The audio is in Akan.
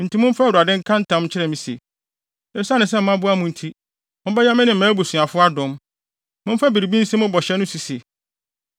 “Enti momfa Awurade nka ntam nkyerɛ me se, esiane sɛ maboa mo nti, mobɛyɛ me ne mʼabusuafo adom. Momfa biribi nsi mo bɔhyɛ so se,